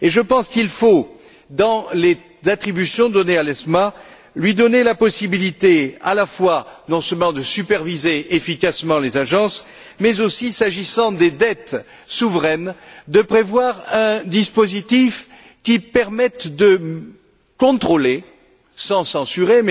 Et je pense qu'il faut, dans les attributions conférées à l'ESMA, lui donner la possibilité non seulement de superviser efficacement les agences, mais aussi, s'agissant des dettes souveraines, de prévoir un dispositif qui permette de contrôler, sans censurer,